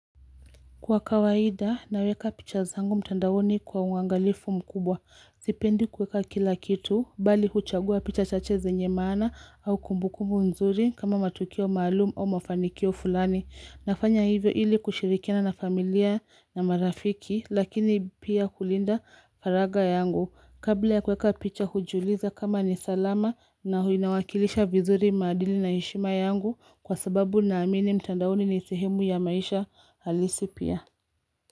Kwa kawaida, naweka picha zangu mtandaoni kwa uangalifu mkubwa. Sipendi kueka kila kitu, mbali huchagua picha chache zenye maana au kumbukumbu nzuri kama matukio maalum au mafanikio fulani. Nafanya hivyo ili kushirikina na familia na marafiki, lakini pia kulinda faraga yangu. Kabla ya kweka picha hujiuliza kama ni salama na inawakilisha vizuri madili na heshima yangu kwa sababu naamini mtandaoni ni sehemu ya maisha halisi pia.